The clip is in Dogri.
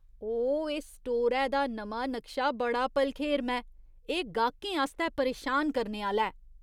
ओह्, एह् स्टोरै दा नमां नक्शा बड़ा भलखेरमां ऐ। एह् गाह्कें आस्तै परेशान करने आह्‌ला ऐ।